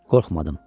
Qorxmadım.